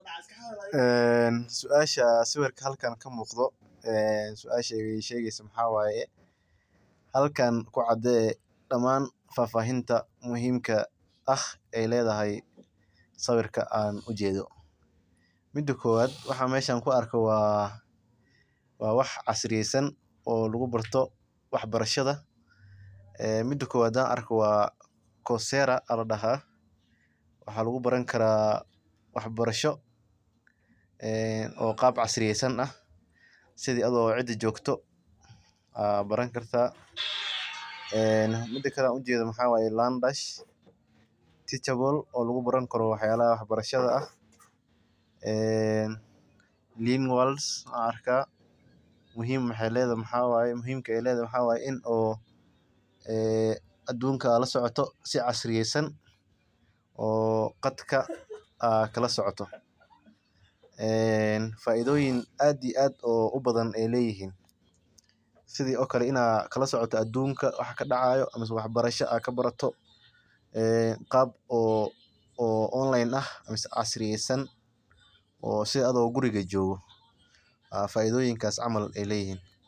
Suasha sawirka halkan ka muuqdo suasha waxeey shegeysa halkan ku cadee damaan faahfaahinta muhiimka ah waxaan arko waa wax muhiim ah oo lagu barto wax barashada qaab casriyesan ah oo lagu tukameysto oo aadka looga yaqaano kenya ayaa wuxuu imaade meel lagu gado kareemka oo gabdaha daqsi lagursado lakin hada waxaa la isticmaala xog aruurin cilmiya casri ah oo laga yaaba inaay tahay meel badiyaha ayuu kabaxaaa waa geed qalalan.